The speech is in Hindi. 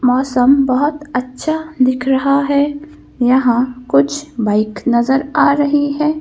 मौसम बहुत अच्छा दिख रहा है यहाँ कुछ बाइक नजर आ रही है।